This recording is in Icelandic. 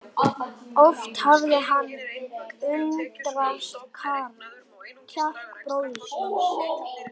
Oft hafði hann undrast kjark bróður síns.